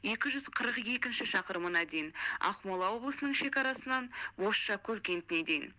екі жүз қырық екінші шақырымына дейін ақмола облысының шекарасынан бозшакөл кентіне дейін